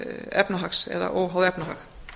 efnahags eða óháð efnahag